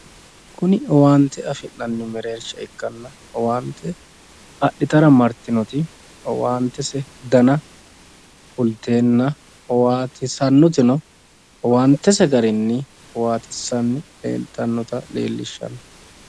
Kuni owaante afi'nanni mereersha ikkanna owaante adhitara martinoti owaantese dani kulteenna owaantese garinni owaanchishanni leeltannota leellishanno.